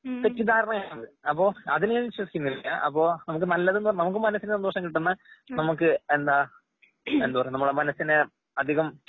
തെറ്റിദ്ധാരണയാണ്. അപ്പൊ അതിൽഞാൻ വിശ്വസിക്കുന്നില്ല. അപ്പൊ നല്ലതെന്ന് നമുക്കുമനസ്സിന്സന്തോഷംകിട്ടുന്ന നമുക്ക് എന്താ എന്ത്വാ നമ്മുടെമനസ്സിനെ അധികം